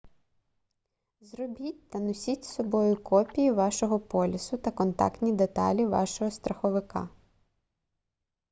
зробіть та носіть з собою копії вашого полісу та контактні деталі вашого страховика